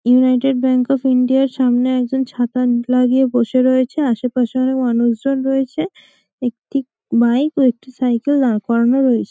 United Bank of ইন্ডিয়ার সামনে একজন ছাতা মুখ লাগিয়ে বসে রয়েছে আশেপাশে অনেক মানুষজন রয়েছে একটি বাইক ও একটি সাইকেল দাঁড় করানো রয়েছে।